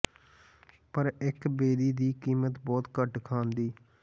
ਪਰ ਇੱਕ ਬੇਰੀ ਦੀ ਕੀਮਤ ਬਹੁਤ ਘੱਟ ਖਾਣ ਦੀ